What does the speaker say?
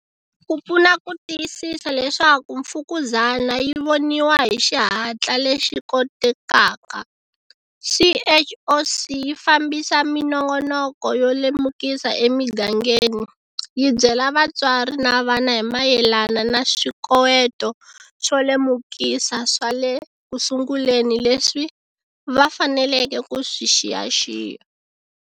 Ku pfuna ku tiyisisa leswaku mfukuzana yi voniwa hi xihatla lexi kotekaka, CHOC yi fambisa minongoloko yo lemukisa emigangeni, yi byela vatswari na vana hi mayelana na swikoweto swo lemukisa swa le kusunguleni leswi va faneleke ku swi xiyaxiya.